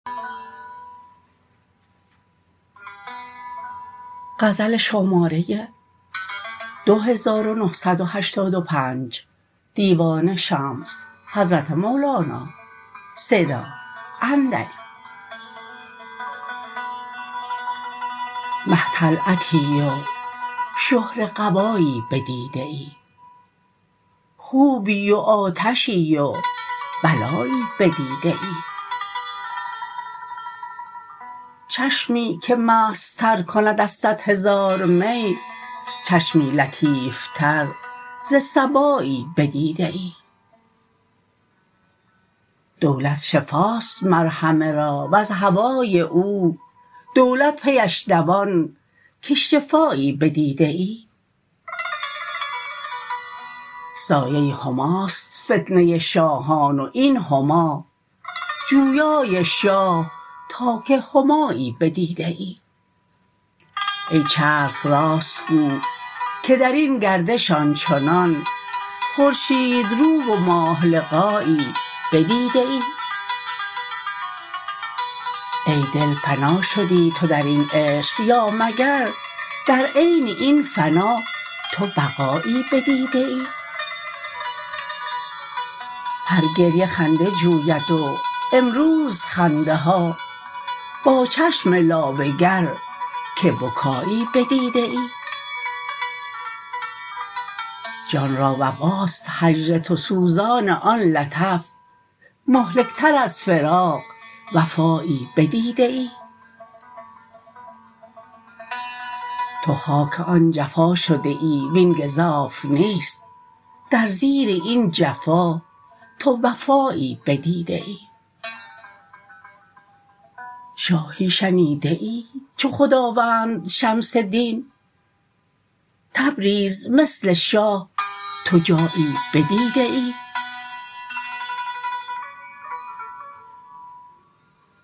مه طلعتی و شهره قبایی بدیده ای خوبی و آتشی و بلایی بدیده ای چشمی که مستتر کند از صد هزار می چشمی لطیفتر ز صبایی بدیده ای دولت شفاست مر همه را وز هوای او دولت پیش دوان که شفایی بدیده ای سایه هماست فتنه شاهان و این هما جویای شاه تا که همایی بدیده ای ای چرخ راست گو که در این گردش آن چنان خورشیدرو و ماه لقایی بدیده ای ای دل فنا شدی تو در این عشق یا مگر در عین این فنا تو بقایی بدیده ای هر گریه خنده جوید و امروز خنده ها با چشم لابه گر که بکایی بدیده ای جان را وباست هجر تو سوزان آن لطف مهلکتر از فراق وبایی بدیده ای تو خاک آن جفا شده ای وین گزاف نیست در زیر این جفا تو وفایی بدیده ای شاهی شنیده ای چو خداوند شمس دین تبریز مثل شاه تو جایی بدیده ای